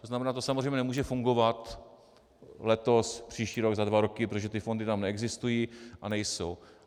To znamená, to samozřejmě nemůže fungovat letos, příští rok, za dva roky, protože ty fondy tam neexistují a nejsou.